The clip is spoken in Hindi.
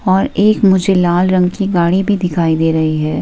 और एक मुझे लाल रंग की गाड़ी भी दिखाई दे रही है।